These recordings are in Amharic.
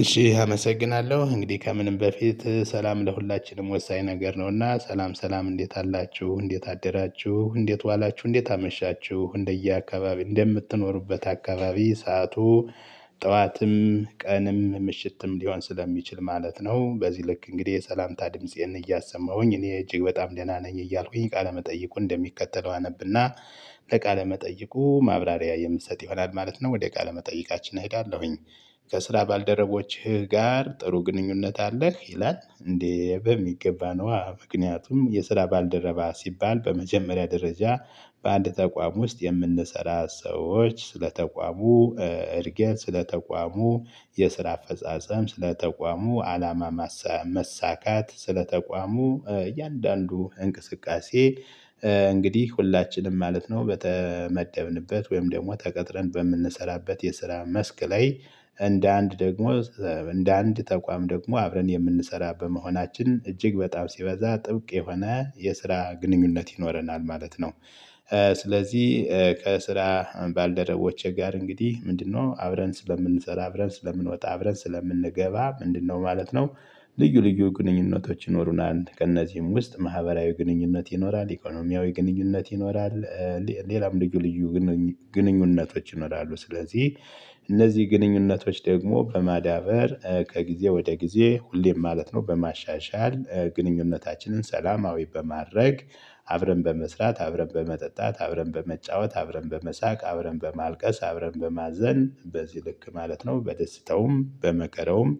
እሺ አመሰግናለሁ እንግዲህ ከምንም በፊት ሰላም ለሁላችንም ወሳኝ ነገር ነውና ሰላም ሰላም እንዴት አላችሁ እንዴት አደራችሁ እንዴት ዋላችሁ እንዴት አመሻችሁ እንደየአካባቢ እንደምትኖሩበት አካባቢ ሰዓቱ ጠዋትም ቀንም ምሽትም ሊሆን ስለሚችል ማለት ነው። በዚህ ልክ እንግዲህ የሰላምታ ድምፄን እያሰማሁኝ እኔ እጅግ በጣም ደህና ነኝ እያልኩኝ ቃለመጠይቁ እንደሚከተለው አነብና ለቃለ መጠይቁ ማብራሪያ የምሰጥ ይሆናል ማለት ነው። ወደ ቃለ መጠይቃችን እሄዳለሁኝ። ከስራ ባልደረቦችህ ጋር ጥሩ ግንኙነት አለህ ይላል? እንዴ በሚገባ ነው። ምክንያቱም የስራ ባልደረባ ሲባል በመጀመሪያ ደረጃ በአንድ ተቋም ውስጥ የምንሰራ ሰዎች ስለተቋሙ እድገት ስለተቋሙ የስራ አፈጻጸም ስለተቋሙ አላማ መሳካት ስለ ተቋሙ እያንዳንዱ እንቅስቃሴ። እንግዲህ ሁላችንም ማለት ነው በተመደብንበት ወይም ደግሞ ተቀጥረን በምንሰራበት የስራ መስክ ላይ እንደ አንድ ደግሞ እንደ አንድ ተቋም ደግሞ አብረን የምንሰራ በመሆናችን እጅግ በጣም ሲበዛ ጥብቅ የሆነ የስራ ግንኙነት ይኖረናል ማለት ነው። ስለዚህ ከስራ ባልደረቦቼ ጋር እንግዲህ ምንድነው አብረን ስለምንሰራ አብረን ስለምንወጣ አብረን ስለምንገባ ምንድነው ማለት ነው። ልዩ ልዩ ግንኙነቶች ይኖሩናል ከእነዚህም ውስጥ ማህበራዊ ግንኙነት ይኖራል ኢኮኖሚያዊ ግንኙነት ይኖራል። ሌላም ልዩ ልዩ ግንኙነቶች ይኖራሉ። ስለዚህ እነዚህ ግንኙነቶች ደግሞ በማዳበር ከጊዜ ወደ ጊዜ ሁሌም ማለት ነው በማሻሻል ግንኙነታችንን ሰላማዊ በማድረግ አብረን በመስራት አብረን በመጠጣት አብረን በመጫወት አብረን በመሳቅ አብረን በማልቀስ አብረን በማዘን በዚህ ልክ ማለት ነው በደስታውም በመከራውም።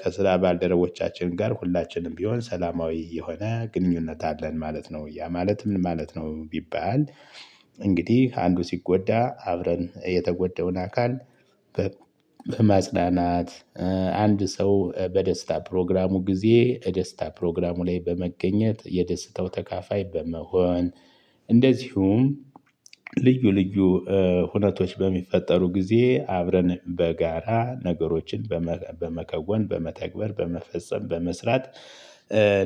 ከስራ ባልደረቦቻችን ጋር ሁላችንም ቢሆን ሰላማዊ የሆነ ግንኙነት አለን ማለት ነው። ያ ማለት ምን ማለት ነው ቢባል? እንግዲህ አንዱ ሲጎዳ አብረን የተጎዳውን አካል በማጽናናት። አንድ ሰው በደስታ ፕሮግራሙ ጊዜ ደስታ ፕሮግራሙ ላይ በመገኘት የደስታው ተካፋይ በመሆን። እንደዚሁም ልዩ ልዩ ሁነቶች በሚፈጠሩ ጊዜ አብረን በጋራ ነገሮችን በመከወን በመተግበር በመፈጸም በመስራት።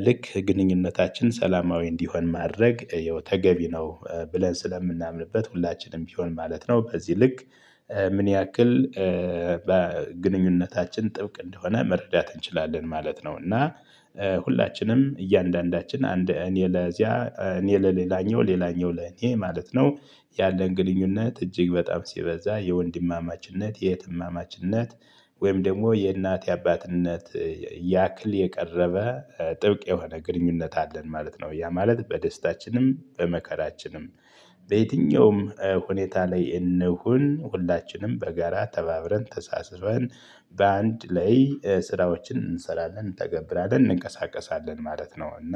ልክ ግንኙነታችን ሰላማዊ እንዲሆን ማድረግ ይኸው ተገቢ ነው። ብለን ስለምናምንበት ሁላችንም ቢሆን ማለት ነው በዚህ ልክ። ምን ያክል በግንኙነታችን ጥብቅ እንደሆነ መረዳት እንችላለን ማለት ነው። እና ሁላችንም እያንዳንዳችን አንድ እኔ ለዚያ እኔ ለሌላኛው ሌላኛው ለኔ ማለት ነው ያለን ግንኙነት እጅግ በጣም ሲበዛ የወንድማማችነት የእህትማማችነት ወይም ደግሞ የእናት የአባትነት ያክል የቀረበ ጥብቅ የሆነ ግንኙነት አለን ማለት ነው። ያ ማለት በደስታችንም በመከራችንም። በየትኛውም ሁኔታ ላይ እንሁን ሁላችንም በጋራ ተባብረን ተሳስበን በአንድ ላይ ስራዎችን እንሰራለን እንተገብራለን እንቀሳቀሳለን ማለት ነው። እና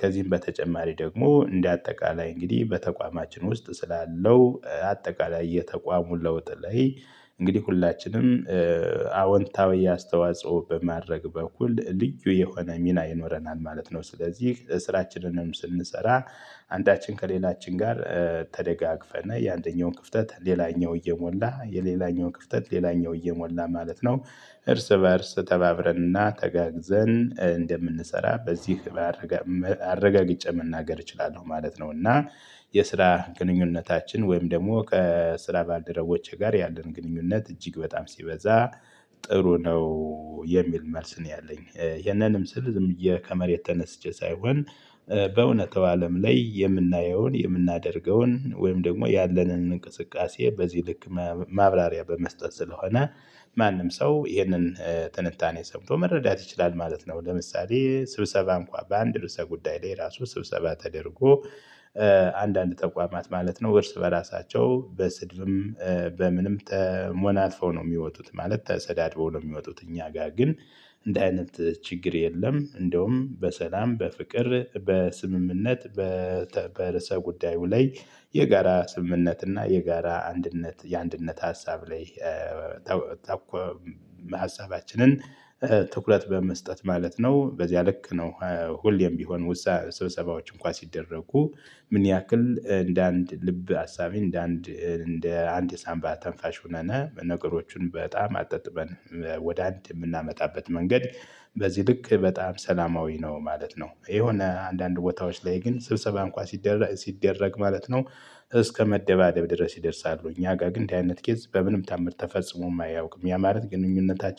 ከዚህም በተጨማሪ ደግሞ እንደ አጠቃላይ እንግዲህ በተቋማችን ውስጥ ስላለው አጠቃላይ የተቋሙን ለውጥ ላይ እንግዲህ ሁላችንም አወንታዊ አስተዋጽኦ በማድረግ በኩል ልዩ የሆነ ሚና ይኖረናል ማለት ነው። ስለዚህ ስራችንንም ስንሰራ አንዳችን ከሌላችን ጋር ተደጋግፈን የአንደኛውን ክፍተት ሌላኛው እየሞላ የሌላኛውን ክፍተት ሌላኛው እየሞላ ማለት ነው። እርስ በእርስ ተባብረንና ተጋግዘን እንደምንሰራ በዚህ ህብረት አረጋግጬ መናገር እችላለሁ ማለት ነው። እና የስራ ግንኙነታችን ወይም ደግሞ ከስራ ባልደረቦቼ ጋር ያለን ግንኙነት እጅግ በጣም ሲበዛ ጥሩ ነው። የሚል መልስ ነው ያለኝ ይሄንንም ስል ዝም ብዬ ከመሬት ተነስቼ ሳይሆን። በእውነታው አለም ላይ የምናየውን የምናደርገውን ወይም ደግሞ ያለንን እንቅስቃሴ በዚህ ልክ ማብራሪያ በመስጠት ስለሆነ ማንም ሰው ይህንን ትንታኔ ሰምቶ መረዳት ይችላል ማለት ነው። ለምሳሌ ስብሰባ እንኳን በአንድ ርዕሰ ጉዳይ ላይ ራሱ ስብሰባ ተደርጎ። አንዳንድ ተቋማት ማለት ነው እርስ በራሳቸው በስድብም በምንም ተሞናትፈው ነው የሚወጡት ማለት ተሰዳድበው ነው የሚወጡት። እኛ ጋር ግን እንዲህ አይነት ችግር የለም። እንደውም በሰላም በፍቅር በስምምነት። በርስ ጉዳዩ ላይ የጋራ ስምምነት እና የጋራ አንድነት የአንድነት ሀሳብ ላይ። ታኮ ሀሳባችንን ትኩረት በመስጠት ማለት ነው በዚያ ልክ ነው። ሁሌም ቢሆን ስብሰባዎች እንኳን ሲደረጉ ምን ያክል እንደ አንድ ልብ አሳቢ እንደ አንድ እንደ አንድ የሳንባ ተንፋሽ ሆነን ነገሮቹን በጣም አጣጥመን ወደ አንድ የምናመጣበት መንገድ። በዚህ ልክ በጣም ሰላማዊ ነው ማለት ነው። የሆነ አንዳንድ ቦታዎች ላይ ግን ስብሰባ እንኳን ሲደረግ ማለት ነው። እስከመደባደብ ድረስ ይደርሳሉ እኛ ጋር ግን እንዲህ አይነት ኬዝ በምንም ታምር ተፈጽሞም አያውቅም። ያ ማለት ግንኙነታችን